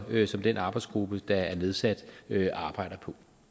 det som den arbejdsgruppe der er nedsat arbejder